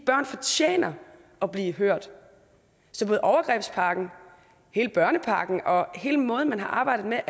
børn fortjener at blive hørt så med overgrebspakken hele børnepakken og hele måden man har arbejdet med